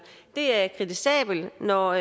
det er kritisabelt når